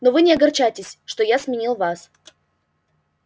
но вы не огорчайтесь что я сменил вас